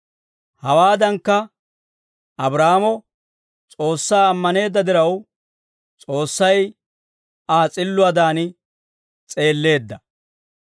Hawaadankka, Abraahaamo S'oossaa ammaneedda diraw, S'oossay Aa s'illuwaadan s'eelleedda.